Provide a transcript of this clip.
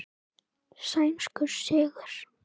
Sænskur sigur.